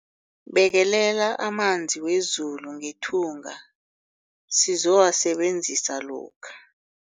Bekelela amanzi wezulu ngethunga sizowasebenzisa lokha.